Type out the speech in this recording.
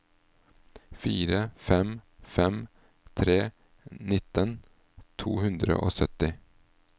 fire fem fem tre nitten to hundre og sytti